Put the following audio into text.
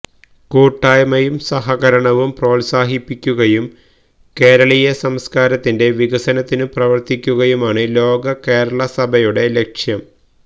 കൂട്ടായ്മയും സഹകരണവും പ്രോത്സാഹിപ്പിക്കുകയും കേരളീയ സംസ്കാരത്തിന്റെ വികസനത്തിനു പ്രവര്ത്തിക്കുകയുമാണ് ലോക കേരള സഭയുടെ ലക്ഷ്യം